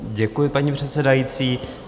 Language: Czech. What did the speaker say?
Děkuji, paní předsedající.